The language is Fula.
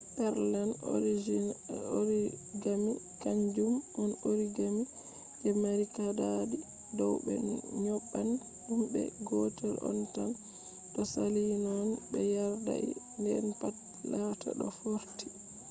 pureland origami kanjum on origami je mari kaadadi dow be nyobban dum de gotel on tan to saali non be yardai den pat laata do fortii